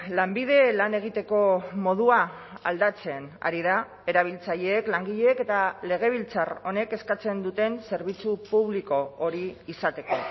lanbide lan egiteko modua aldatzen ari da erabiltzaileek langileek eta legebiltzar honek eskatzen duten zerbitzu publiko hori izateko